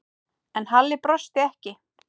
En Halli brosti ekki.